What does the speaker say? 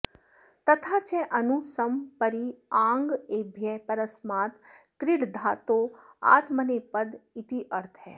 तथा च अनु सम परि आङ् एभ्यः परस्मात् क्रीडधातोरात्मनेपदमित्यर्थः